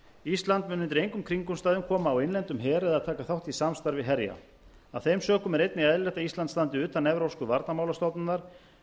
ísland mun undir engum kringumstæðum koma á innlendum her eða taka þátt í samstarfi herja af þeim sökum er einnig eðlilegt að ísland standi utan evrópska varnarmálastofnunar